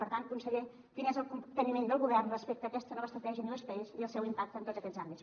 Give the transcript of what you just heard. per tant conseller quin és el capteniment del govern respecte a aquesta nova estratègia i newspace i el seu impacte en tots aquests àmbits